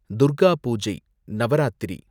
Durga puja, Navaratri